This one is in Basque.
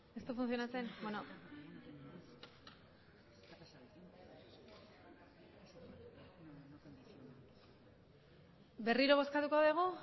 berriro bozkatuko dugu